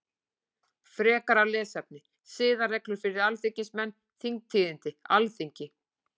Frekara lesefni: Siðareglur fyrir alþingismenn Þingtíðindi Alþingi.